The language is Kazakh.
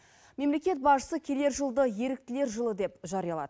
мемлекет басшысы келер жылды еріктілер жылы деп жариялады